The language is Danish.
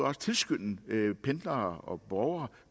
også tilskynde pendlere og borgere